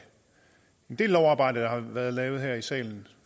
en del lovarbejde der har været lavet her i salen